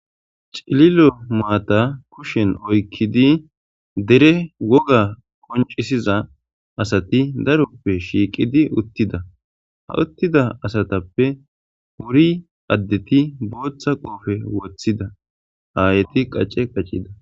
cililo maata kushen oykkidi dere woga qoncisiza asati daroppe shiiqidi uttida ha uttida asatappe wuri addeti booththa qoofe wothida haayeti qacce qacida